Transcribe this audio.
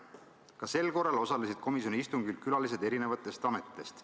Ka sel korral osalesid komisjoni istungil külalised eri ametitest.